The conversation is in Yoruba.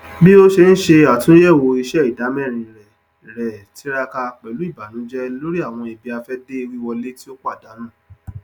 bí o ṣe ń ṣe àtúnyẹwò iṣẹ ìdámẹrin rẹ rẹ tiraka pẹlú ìbànújẹ lórí àwọn ibiafẹde wiwọlé tí ó pàdánù